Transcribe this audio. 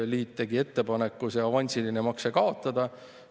Pangaliit tegi ettepaneku see avansiline makse kaotada.